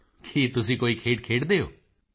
ਮੋਦੀ ਜੀ ਕੀ ਤੁਸੀਂ ਕੋਈ ਖੇਡ ਖੇਡਦੇ ਹੋ